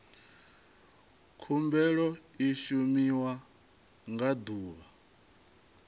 khumbelo i shumiwa nga ḓuvha